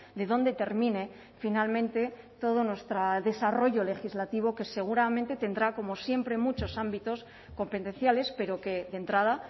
de dónde termine finalmente todo nuestro desarrollo legislativo que seguramente tendrá como siempre muchos ámbitos competenciales pero que de entrada